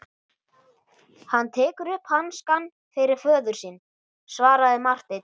Hann tekur upp hanskann fyrir föður sinn, svaraði Marteinn.